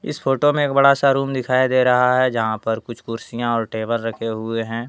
इस फोटो में एक बड़ा सा रूम दिखाई दे रहा है जहाँ पर कुछ कुर्सियां और टेबल रखे हुए हैं।